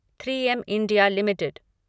three M India limited